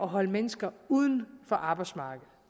holde mennesker uden for arbejdsmarkedet